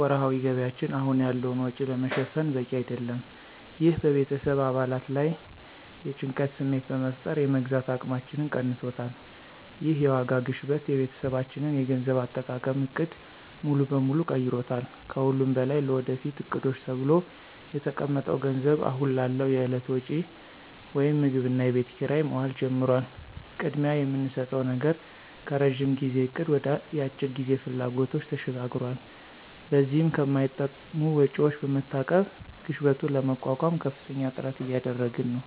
ወርሃዊ ገቢያችን አሁን ያለውን ወጪ ለመሸፈን በቂ አይደለም። ይህ በቤተሰብ አባላት ላይ የጭንቀት ስሜት በመፍጠር የመግዛት አቅማችንን ቀንሶታል። ይህ የዋጋ ግሽበት የቤተሰባችንን የገንዘብ አጠቃቀም ዕቅድ ሙሉ በሙሉ ቀይሮታል። ከሁሉም በላይ ለወደፊት ዕቅዶች ተብሎ የተቀመጠው ገንዘብ አሁን ላለው የዕለት ወጪ (ምግብና የቤት ኪራይ) መዋል ጀምሯል። ቅድሚያ የምንሰጠው ነገር ከረዥም ጊዜ እቅድ ወደ የአጭር ጊዜ ፍላጎቶች ተሸጋግሯል። በዚህም ከማይጠቅሙ ወጪዎች በመታቀብ ግሽበቱን ለመቋቋም ከፍተኛ ጥረት እያደረግን ነው።